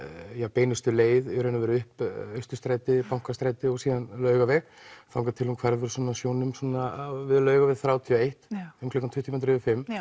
beinustu leið upp Bankastræti og síðan Laugaveg þangað til hún hverfur svona sjónum við Laugaveg þrjátíu og eitt um tuttugu mínútur yfir fimmta já